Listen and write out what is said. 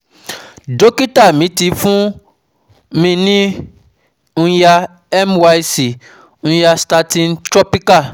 dókítà mi ti um fún mi ní Nya Myc Nystatin Topical